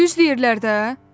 Düz deyirlər də.